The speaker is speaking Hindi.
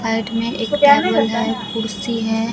साइड में एक टेबल है कुर्सी है।